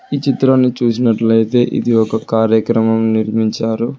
ఈ చిత్రాన్ని చూసినట్లయితే ఇది ఒక కార్యక్రమం నిర్మించారు.